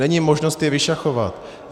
Není možnost je vyšachovat.